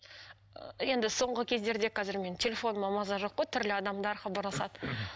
ы енді соңғы кездерде қазір менің телефоныма маза жоқ қой түрлі адамдар хабарласады